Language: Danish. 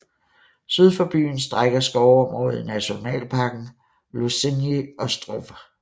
Syd for byen strækker skovområdet i nationalparken Losinyj Ostrov